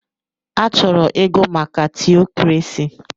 Achọrọ ịgụ maka tiokrasi.